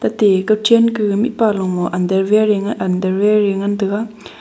te chanke mihpa lomo underwear a ngan taga.